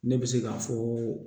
Ne bɛ se ka fɔ